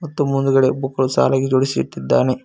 ಮತ್ತು ಮುಂದುಗಡೆ ಬುಕ್ ಗಳು ಸಾಲಾಗಿ ಜೋಡಿಸಿ ಇಟ್ಟಿದ್ದಾನೆ.